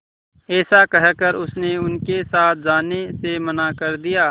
ऐसा कहकर उसने उनके साथ जाने से मना कर दिया